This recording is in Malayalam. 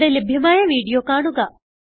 ഇവിടെ ലഭ്യമായ വീഡിയോ കാണുക